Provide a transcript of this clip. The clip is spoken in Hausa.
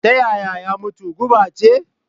Ta yaya ya mutu? guba ce?